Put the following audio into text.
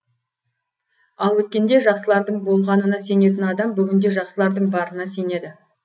ал өткенде жақсылардың болғанына сенетін адам бүгінде жақсылардың барына сенеді